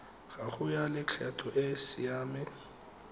gago ya lekgetho e siame